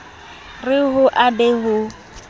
re ho a be ho